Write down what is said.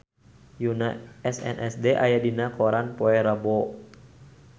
Yoona SNSD aya dina koran poe Rebo